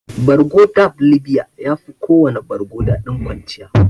Bargo dab libiya yafi kowana bargo daɗin kwanciya.